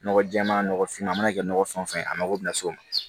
Nɔgɔ jɛɛma nɔgɔfinma a mana kɛ nɔgɔ fɛn o fɛn ye a mago bi na s'o ma